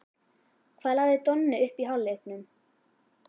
Hvað lagði Donni upp í hálfleiknum?